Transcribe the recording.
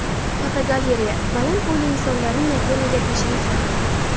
Fotogalereya: Baland bo‘yli insonlarning Yaponiyaga tashrifi.